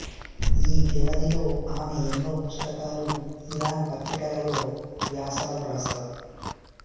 ఈ వ్యవధిలో ఆమె ఎన్నో పుస్తకాలు ఇరాన్ పత్రికలలో వ్యాసాలు వ్రాసారు